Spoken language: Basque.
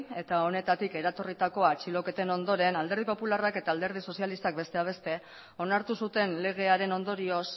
eta honetatik eratorritako atxiloketen ondoren alderdi popularrak eta alderdi sozialistak besteak beste onartu zuten legearen ondorioz